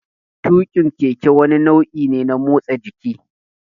Tuƙin keke wani nau'i ne na motsa jiki.